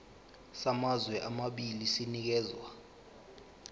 samazwe amabili sinikezwa